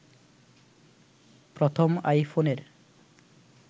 প্রথম আইফোনের